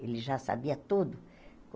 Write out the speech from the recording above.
Ele já sabia tudo.